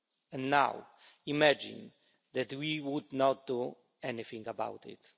And now, imagine that we would not do anything about it.